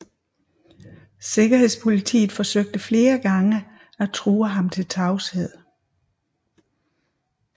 Sikkerhedspolitiet forsøgte flere gange at true ham til tavshed